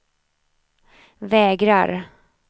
vägrar